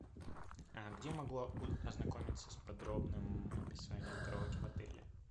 а где могу ознакомиться с подробным описанием караоке в отеле